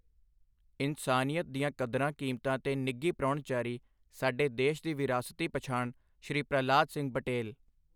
ਇਨਸਾਨੀਅਤ ਦੀਆਂ ਕਦਰਾਂ ਕੀਮਤਾਂ ਤੇ ਨਿੱਘੀ ਪ੍ਰਾਹੁਣਚਾਰੀ ਸਾਡੇ ਦੇਸ਼ ਦੀ ਵਿਰਾਸਤੀ ਪਛਾਣ ਸ਼੍ਰੀ ਪ੍ਰਹਲਾਦ ਸਿੰਘ ਪਟੇਲ